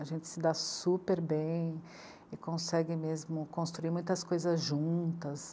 A gente se dá super bem e consegue mesmo construir muitas coisas juntas.